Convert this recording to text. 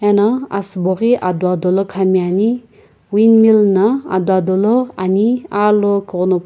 ena asubo ghi ado ado la khami ani wind mill ado ado la ani alokughunopu.